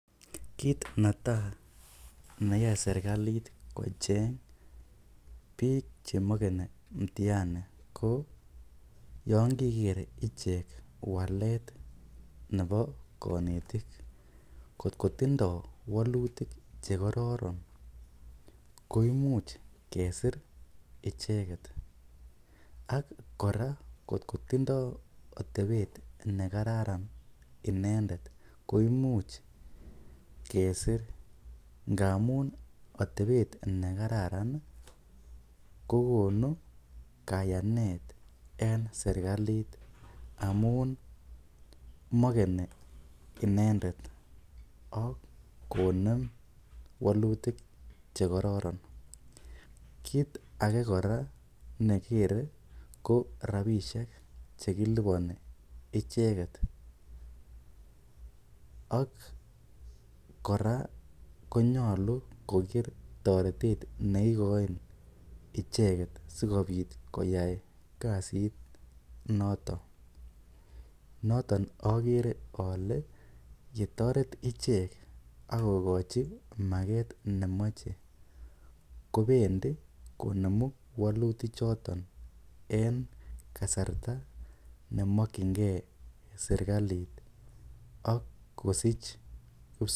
Kiit netai neyoe serikalit kocheny biik chemakani mutiani ko yon keiker ichek walet nebo konetik kotkotindoi walutik chekororon koimuch kesir icheket ak kora kotkotindoi atepet nekararan inendet koimuch kesir ngamun atepet nekararan kokonu kayanet eng serikalit amun makeni inendet ak konem walutik chekororon kiit age kora nekikere ko rapishek chekilipani icheket ak kora konyolu koker toretet neikoin icheket sikobit koser icheket noto noton akere ale yetoret ichek akokochin maket nemochei kobendi konemu kowolu walutik choto en kasarta nemakchingei serikalit ak kosich.